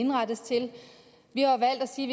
indrettes til vi har valgt at sige